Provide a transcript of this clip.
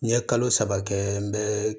N ye kalo saba kɛ n bɛ